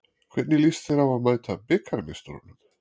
Hvernig lýst þér á að mæta bikarmeisturunum?